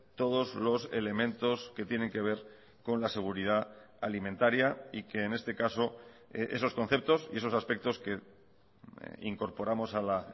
todos los elementos que tienen que ver con la seguridad alimentaria y que en este caso esos conceptos y esos aspectos que incorporamos a la